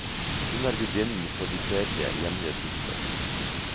Hun er gudinnen for de fredlige, hjemlige sysler.